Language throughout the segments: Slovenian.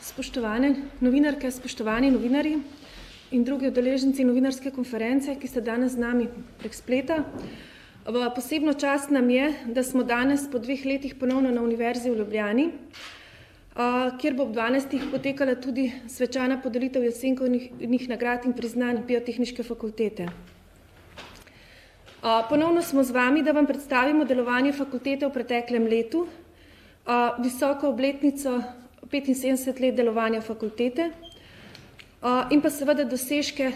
spoštovane novinarke, spoštovani novinarji in drugi udeleženci novinarske konference, ki ste danes z nami prek spleta, v posebno čast nam je, da smo danes po dveh letih ponovno na Univerzi v Ljubljani, kjer bo ob dvanajstih potekala tudi svečana podelitev Jesenkovih nagrad in priznanj Biotehniške fakultete. ponovno smo z vami, da vam predstavimo delovanje fakultete v preteklem letu. visoko obletnico, petinsedemdeset let delovanja fakultete, in pa seveda dosežke,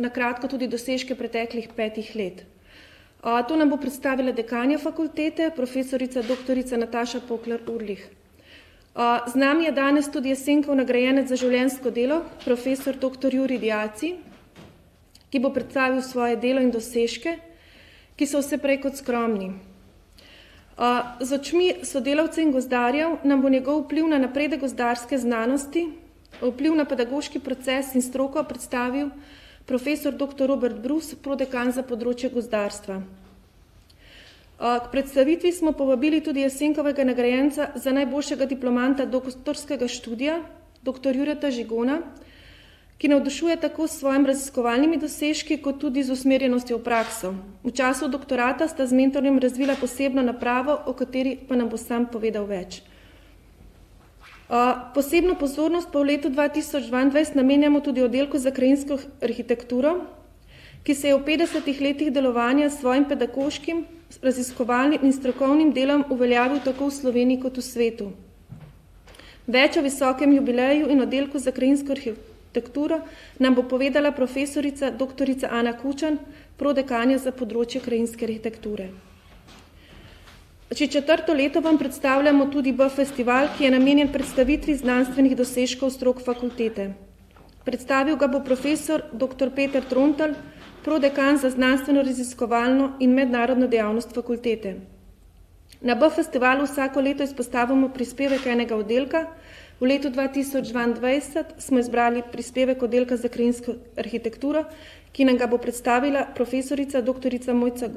na kratko tudi dosežke preteklih petih let. to nam bo predstavila dekanja fakultete, profesorica doktorica Nataša Poklar Ulrih. z nami je danes tudi Jesenkov nagrajenec za življenjsko delo profesor doktor Jurij Diaci, ki bo predstavil svoje delo iz dosežke, ki so vse prej kot skromni. z očmi sodelavcev in gozdarjev nam bo njegov vpliv na gozdarske znanosti, vpliv na pedagoški proces in stroko predstavil profesor doktor Robert Brus, prodekan za področje gozdarstva. k predstavitvi smo povabili tudi Jesenkovega nagrajenca za najboljšega diplomanta doktorskega študija doktor Jureta Žigona, ki navdušuje tako s svojim raziskovalnimi dosežki kot tudi z usmerjenostjo v prakso. V času doktorata sta z mentorjem razvila posebno napravo, o kateri pa nam bo sam povedal več. posebno pozornost pa v letu dva tisoč dvaindvajset namenjamo tudi Oddelku za krajinsko arhitekturo, ki se je v petdesetih letih delovanja s svojim pedagoškim, raziskovalnim in strokovnim delom uveljavil tako v Sloveniji kot v svetu. Več o visokem jubileju in Oddelku za krajinsko arhitekturo nam bo povedala profesorica doktorica Ana Kučan, prodekanja za področje krajinske arhitekture. Že četrto leto vam predstavljamo tudi BF-festival, ki je namenjen predstavitvi znanstvenih dosežkov strok fakultete. Predstavil ga bo profesor doktor Peter Trontelj, prodekan za znanstvenoraziskovalno in mednarodno dejavnost fakultete. Na BF-festivalu vsako leto izpostavimo prispevek enega oddelka, v letu dva tisoč dvaindvajset smo izbrali prispevek Oddelka za krajinsko arhitekturo, ki nam ga bo predstavila profesorica doktorica Mojca ,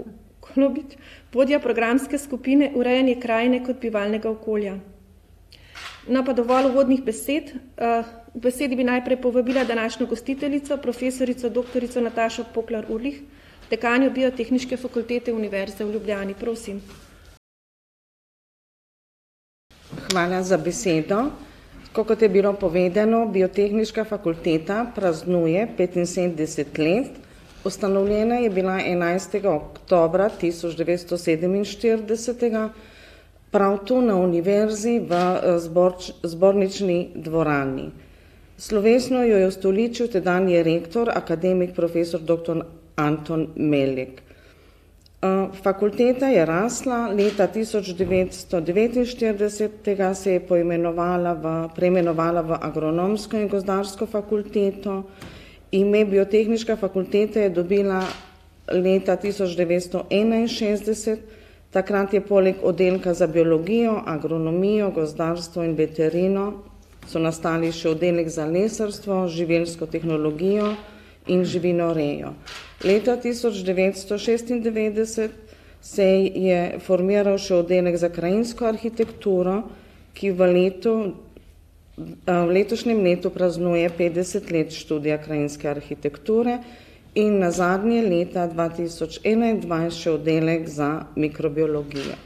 vodja programske skupine Urejanje krajine kot bivalnega okolja. No, pa dovolj uvodnih besed, k besedi bi najprej povabila današnjo gostiteljico profesorico Natašo Puklar Urlih, dekanjo Biotehniške fakultete Univerze v Ljubljani. Prosim. Hvala za besedo. Tako kot je bilo povedano, Biotehniška fakulteta praznuje petinsedemdeset let. Ustanovljena je bila enajstega oktobra tisoč devetsto sedeminštiridesetega prav tu na Univerzi v, Zbornični dvorani. Slovesno jo je ustoličil tedanji rektor akademik profesor doktor Anton Melik. fakulteta je rasla. Leta tisoč devetsto devetinštiridesetega se je poimenovala v, preimenovala v Agronomsko in gozdarsko fakulteto. Ime Biotehniška fakulteta je dobila leta tisoč devetsto enainšestdeset, takrat je poleg oddelka za biologijo, agronomijo, gozdarstvo in veterino so nastali še oddelek za lesarstvo, živilsko tehnologijo in živinorejo. Leta tisoč devetdeset šestindevetdeset se je formiral še Oddelek za krajinsko arhitekturo, ki v letu, v letošnjem letu praznuje petdeset let študija krajinske arhitekture. In nazadnje leta dva tisoč enaindvajset še Oddelek za mikrobiologijo.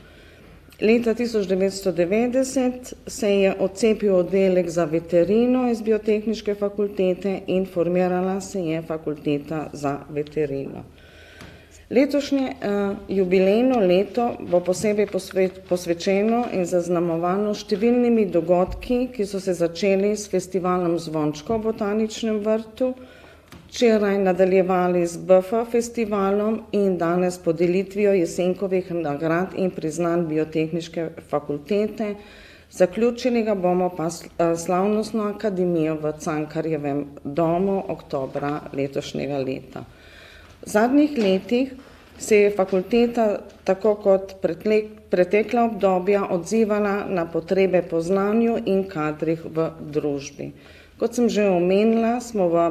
Leta tisoč devetsto devetdeset se je odcepil Oddelek za veterino iz Biotehniške fakultete in formirala se je Fakulteta za veterino. Letošnje, jubilejno leto bo posebej posvečeno in zaznamovano s številnimi dogodki, ki so se začeli s Festivalom zvončkov v Botaničnem vrtu. Včeraj nadaljevali z BF-festivalom in danes podelitvijo Jesenkovih nagrad in priznanj Biotehniške fakultete. Zaključili ga bomo pa s slavnostno akademijo v Cankarjevem domu oktobra letošnjega leta. V zadnjih letih se je fakulteta tako kot pretekla obdobja odzivala na potrebe po znanju in kadrih v družbi. Kot sem že omenila, smo v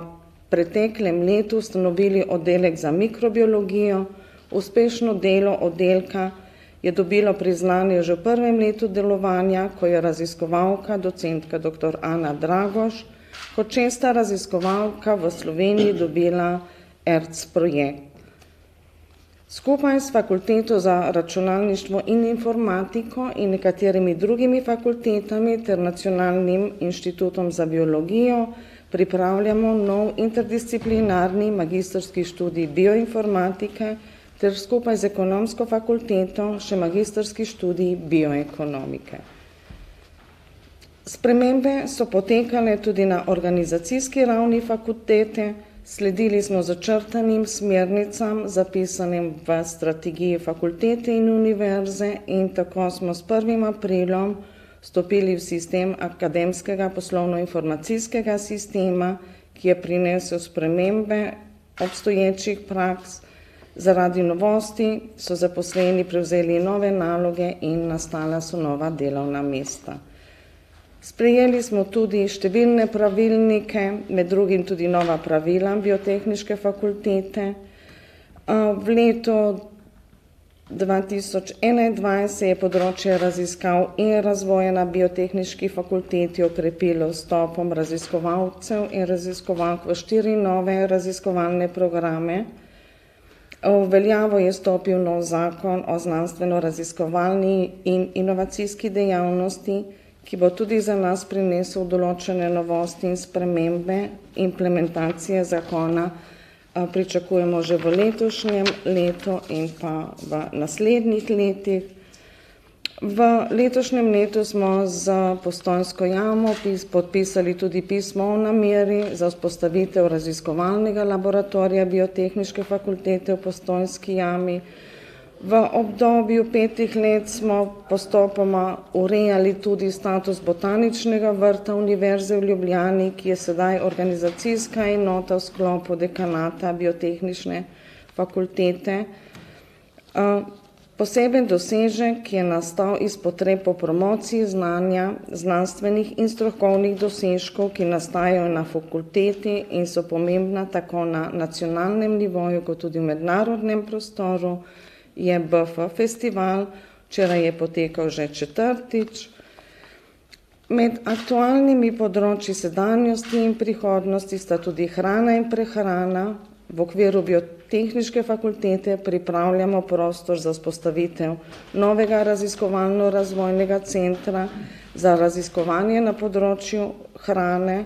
preteklem letu ustanovili Oddelek za mikrobiologijo. Uspešno delo oddelka je dobilo priznanje že v prvem letu delovanja, ko je raziskovalka docentka doktor Anna Dragoš kot šesta raziskovalka v Sloveniji dobila ERC-projekt. Skupaj s Fakulteto za računalništvo in informatiko in nekaterimi drugimi fakultetami ter Nacionalnim inštitutom za biologijo pripravljamo nov interdisciplinarni magistrski študij bioinformatike ter skupaj z Ekonomsko fakulteto še magistrski študij bioekonomike. Spremembe so potekale tudi na organizacijski ravni fakultete, sledili smo začrtanim smernicam, zapisanim v strategiji fakultete in Univerze in tako smo s prvim aprilom stopili v sistem akademskega poslovnoinformacijskega sistema, ki je prinesel spremembe obstoječih praks. Zaradi novosti so zaposleni prevzeli nove naloge in nastala so nova delovna mesta. Sprejeli smo tudi številne pravilnike, med drugimi tudi nova pravila Biotehniške fakultete. v leto dva tisoč enaindvajset se je področje raziskav in razvoja na Biotehniški fakulteti okrepilo z vstopom raziskovalcev in raziskovalk v štiri nove raziskovalne programe. v veljavo je stopil novi zakon o znanstvenoraziskovalni in inovacijski dejavnosti, ki bo tudi za nas prinesel določene novosti in spremembe, implementacije zakona, pričakujemo že v letošnjem letu in pa v naslednjih letih. V letošnjem letu smo s Postojnsko jamo podpisali tudi pismo o nameri za vzpostavitev raziskovalnega laboratorija Biotehniške fakultete v Postojnski jami. V obdobju petih let smo postopoma urejali tudi status Botaničnega vrta Univerze v Ljubljani, ki je sedaj organizacijska enota v sklopu dekanata biotehniške fakultete. poseben dosežek je nastal iz potreb po promociji znanja, znanstvenih in strokovnih dosežkov, ki nastajajo na fakulteti in so pomembna tako na nacionalnem nivoju kot tudi v mednarodnem prostoru. Je BF-festival včeraj je potekal že četrtič. Med aktualnimi področji sedanjosti in prihodnosti sta tudi hrana in prehrana, v okviru Biotehniške fakultete pripravljamo prostor za vzpostavitev novega raziskovalno-razvojnega centra za raziskovanje na področju hrane,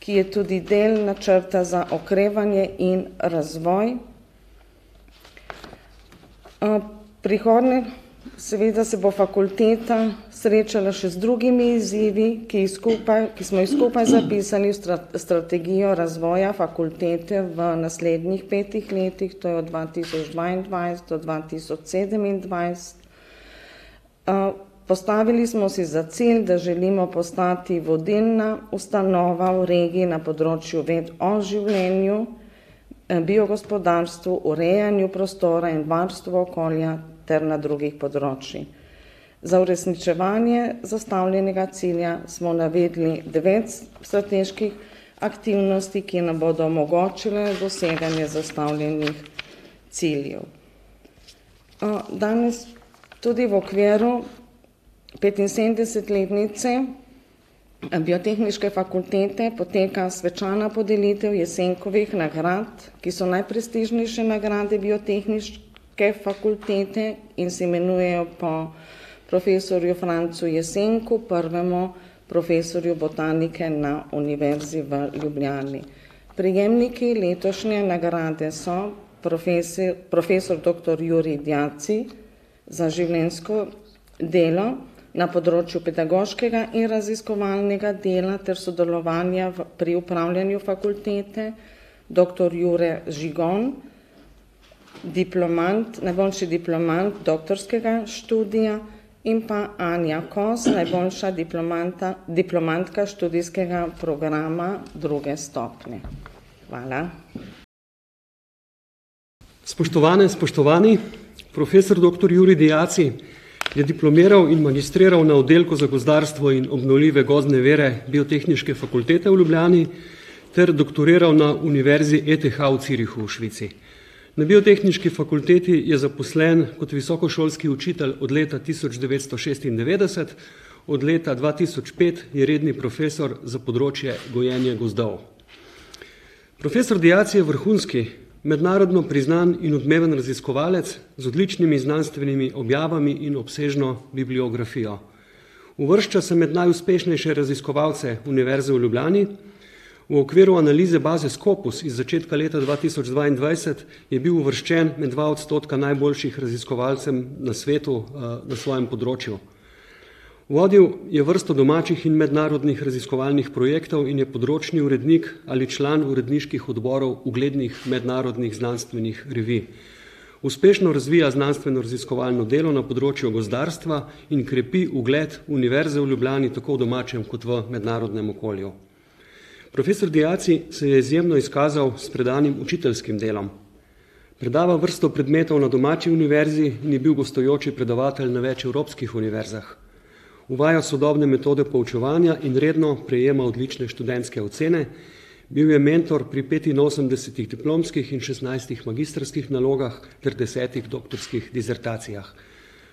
ki je tudi del načrta za okrevanje in razvoj. prihodnjo seveda se bo fakulteta srečala še z drugimi izzivi, ki jih skupaj, ki smo jih skupaj zapisali v strategijo razvoja fakultete v naslednjih petih letih. To je od leta dva tisoč dvaindvajset do dva tisoč sedemindvajset. postavili smo si za cilj, da želimo postati vodilna ustanova v regiji na področju ved o življenju. biogospodarstvu, urejanju prostora in varstvo okolja ter na drugih področjih. Za uresničevanje zastavljenega cilja smo navedli devet strateških aktivnosti, ki nam bodo omogočile doseganje zastavljenih ciljev. danes tudi v okviru petinsedemdesetletnice, Biotehniške fakultete poteka svečana podelitev Jesenkovih nagrad, ki so najprestižnejše nagrade Biotehniške fakultete in se imenujejo po profesorju Francu Jesenku, prvemu profesorju botanike na Univerzi v Ljubljani. Prejemniki letošnje nagrade so profesor doktor Jurij Diaci, za življenjsko delo na področju pedagoškega in raziskovalnega dela ter sodelovanja pri upravljanju fakultete. Doktor Jure Žigon, diplomant, najboljši diplomant doktorskega študija. In pa Anja Kos, najboljša diplomanta, diplomantka študijskega programa druge stopnje. Hvala. Spoštovane in spoštovani, profesor doktor Jurij Diaci je diplomiral in magistriral na Oddelku za gozdarstvo in obnovljive gozdne vire Biotehniške Fakultete v Ljubljani ter doktoriral na Univerzi ETH v Zürichu v Švici. Na Biotehniški fakulteti je zaposlen kot visokošolski učitelj od leta tisoč devetsto šestindevetdeset. Od leta dva tisoč pet je redni profesor za področje gojenje gozdov. Profesor Diaci je vrhunski, mednarodno priznan in odmeven raziskovalec z odličnimi znanstvenimi objavami in obsežno bibliografijo. Uvršča se med najuspešnejše raziskovalce Univerze v Ljubljani. V okviru analize baze Scopus iz začetka leta dva tisoč dvaindvajset je bil uvrščen med dva odstotka najboljših raziskovalcev na svetu, na svojem področju. Vodil je vrsto domačih in mednarodnih raziskovalnih projektov in je področni urednik ali član uredniških odborov uglednih mednarodnih znanstvenih revij. Uspešno razvija znanstvenoraziskovalno delo na področju gozdarstva in krepi ugled Univerze v Ljubljani tako v domačem kot v mednarodnem okolju. Profesor Diaci se je izjemno izkazal s predanim učiteljskim delom. Predava vrsto predmetov na domači univerzi in je bil gostujoči predavatelj na več evropskih univerzah. Uvaja sodobne metode poučevanja in redno prejema odlične študentske ocene. Bil je mentor pri petinosemdesetih diplomskih in šestnajstih magistrskih nalogah ter desetih doktorskih disertacijah.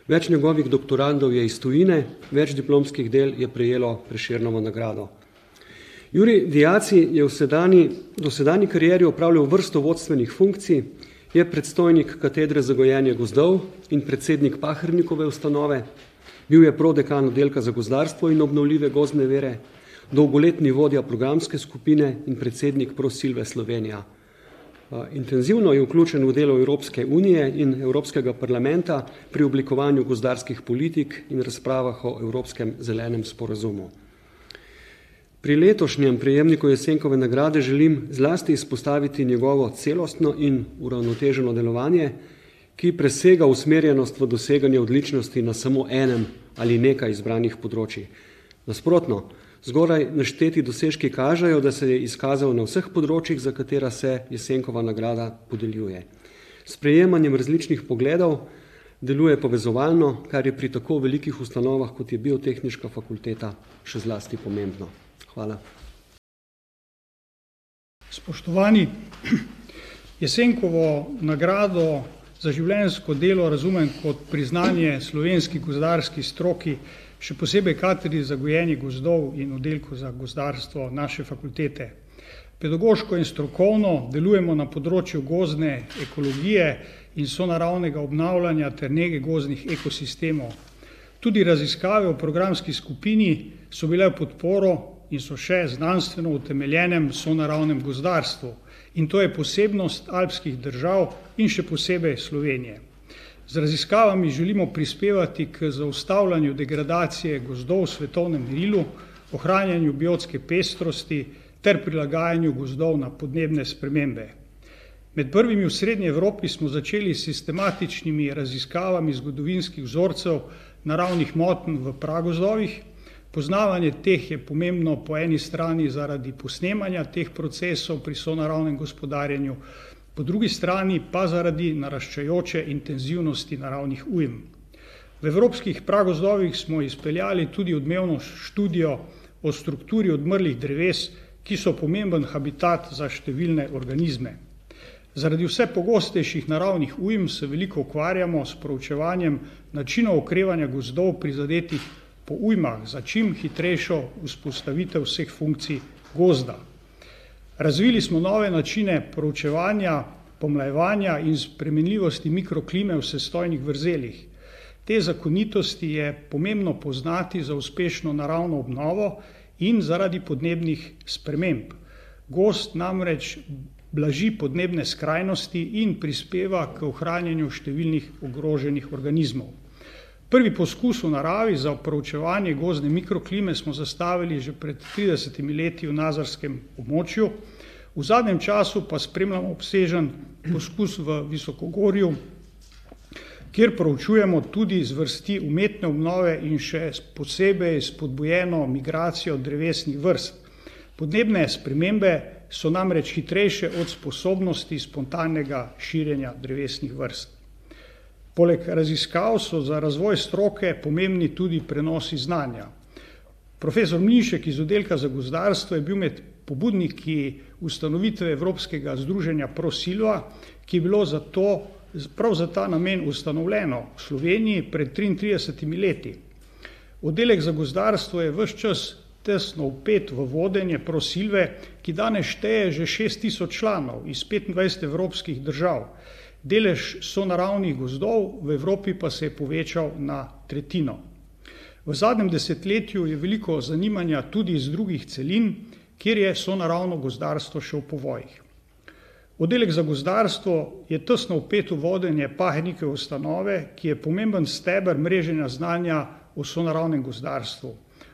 Več njegovih doktorandov je iz tujine, več diplomskih del je prejelo Prešernovo nagrado. Jurij Diaci je v sedanji, dosedanji karieri upravljal vrsto vodstvenih funkcij, je predstojnik Katedre za gojenje gozdov in predsednik Pahernikove ustanove. Bil je prodekan Oddelka za gozdarstvo in obnovljive gozdne dele. Dolgoletni vodja programske skupine in predsednik Prosilve Slovenija. intenzivno je vključen v delo Evropske unije in Evropskega parlamenta pri oblikovanju gozdarskih politik in razpravah o Evropskem zelenem sporazumu. Pri letošnjem prejemniku Jesenkove nagrade želim zlasti izpostaviti njegovo celostno in uravnoteženo delovanje, ki presega usmerjenost v doseganju odličnosti na samo enem ali nekaj izbranih področjih. Nasprotno, zgoraj našteti dosežki kažejo, da se je izkazalo na vseh področjih, za katera se Jesenkova nagrada podeljuje. S prejemanjem različnih pogledov deluje povezovalno, kar je pri tako velikih ustanovah, kot je Biotehniška fakulteta, še zlasti pomembno. Hvala. Spoštovani, Jesenkovo nagrado za življenjsko delo razumem kot priznanje slovenski gozdarski stroki, še posebej katedri za gojenje gozdov in oddelku za gozdarstvo naše fakultete. Pedagoško in strokovno delujemo na področju gozdne ekologije in sonaravnega obnavljanja ter nege gozdnih ekosistemov. Tudi raziskave v programski skupini so bile v podporo in so še znanstveno utemeljenemu sonaravnemu gozdarstvu. In to je posebnost alpskih držav in še posebej Slovenije. Z raziskavami želimo prispevati k zaustavljanju degradacije gozdov v svetovnem merilu, ohranjanju biotske pestrosti ter prilagajanju gozdov na podnebne spremembe. Med prvimi v Srednji Evropi smo začeli s sistematičnimi raziskavami zgodovinskih vzorcev naravnih motenj v pragozdovih. Poznavanje teh je pomembno po eni strani zaradi posnemanja teh procesov pri sonaravnem gospodarjenju po drugi strani pa zaradi naraščajoče intenzivnosti naravnih ujm. V evropskih pragozdovih smo izpeljali tudi odmevno študijo o strukturi odmrlih dreves, ki so pomemben habitat za številne organizme. Zaradi vse pogostejših naravnih ujm se veliko ukvarjamo s proučevanjem načinov okrevanja gozdov, prizadetih po ujmah za čim hitrejšo vzpostavitev vseh funkcij gozda. Razvili smo nove načine proučevanja, pomlajevanja in spremenljivosti mikroklime v sestojnih vrzelih. Te zakonitosti je pomembno poznati za uspešno naravno obnovo in zaradi podnebnih sprememb. Gozd namreč blaži podnebne skrajnosti in prispeva k ohranjanju številnih ogroženih organizmov. Prvi poskus v naravi za proučevanje gozdne mikroklime smo zastavili že pred tridesetimi leti v nazarskem območju. V zadnjem času pa spremljamo obsežen poskus v visokogorju, kjer proučujemo tudi zvrsti umetne obnove in še posebej spodbujeno migracijo drevesnih vrst. Podnebne spremembe so namreč hitrejše od sposobnosti spontanega širjenja drevesnih vrst. Poleg raziskav so za razvoj stroke pomembni tudi prenosi znanja. Profesor Mišek iz oddelka za gozdarstvo je bil med pobudniki ustanovitve evropskega združenja Prosilva, ki je bilo zato pravi za ta namen ustanovljeno v Sloveniji pred triintridesetimi leti. Oddelek za gozdarstvo je ves čas tesno vpet v vodenje Prosilve, ki danes šteje že šest tisoč članov iz petindvajset evropskih držav. Delež sonaravnih gozdov v Evropi pa se je povečal na tretjino. V zadnjem desetletju je veliko zanimanja tudi z drugih celin, kjer je sonaravno gozdarstvo še v povojih. Oddelek za gozdarstvo je tesno vpet v vodenje Pahernikove ustanove, ki je pomemben steber mreženja znanja v sonaravnem gozdarstvu.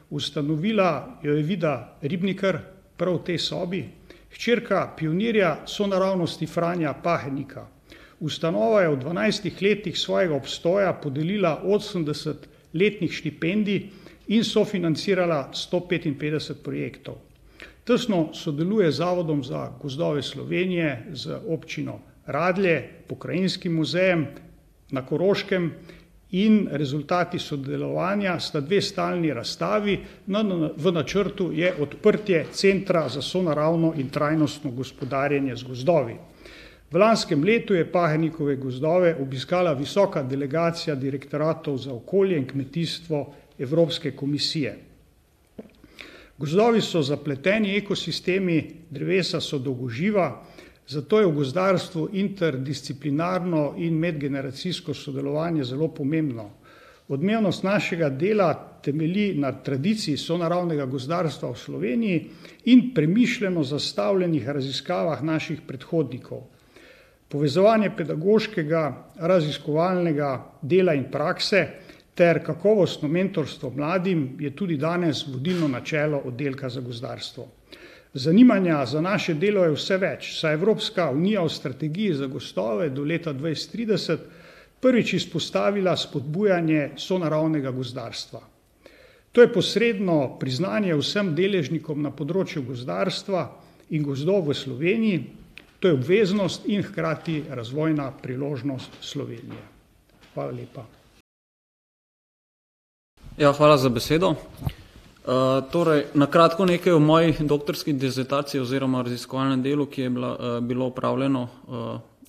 Ustanovila jo je Vida Ribnikar prav v tej sobi, hčerka pionirja sonaravnosti Franja Pahernika. Ustanova je v dvanajstih letih svojega obstoja podelila osemdeset letnih štipendij in sofinancirala sto petinpetdeset projektov. Tesno sodeluje z Zavodom za gozdove Slovenije z občino Radlje, pokrajinskim muzejem na Koroškem in rezultati sodelovanja sta dve stalni razstavi v načrtu je odprtje Centra za sonaravno in trajnostno gospodarjenje z gozdovi. V lanskem letu je Pahernikove gozdove obiskala visoka delegacija direktoratov za okolje in kmetijstvo Evropske komisije. Gozdovi so zapleteni ekosistemi, drevesa so dolgoživa. Zato je v gozdarstvu interdisciplinarno in medgeneracijsko sodelovanje zelo pomembno. Odmevnost našega dela temelji na tradiciji sonaravnega gozdarstva v Sloveniji in premišljeno zastavljenih raziskavah naših predhodnikov. Povezovanje pedagoškega, raziskovalnega dela in prakse ter kakovostno mentorstvo mladim je tudi danes vodilno načelo oddelka za gozdarstvo. Zanimanja za naše delo je vse več, saj je Evropska unija v strategiji za gozdove do leta dvajset trideset prvič izpostavila vzpodbujanje sonaravnega gozdarstva. To je posredno priznanje vsem deležnikom na področju gozdarstva in gozdov v Sloveniji. To je obveznost in hkrati razvojna priložnost Slovenije. Hvala lepa. Ja, hvala za besedo. torej na kratko nekaj o moji doktorski disertaciji oziroma raziskovalnem delu, ki je bilo, bilo opravljeno,